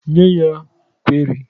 Nye ya kwerị!